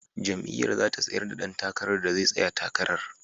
Jam’iyyar za ta tsayar da dan takarar da zai tsaya takarar.